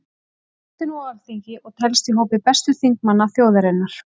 Hann situr nú á Alþingi og telst í hópi bestu þingmanna þjóðarinnar.